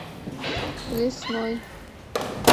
лесной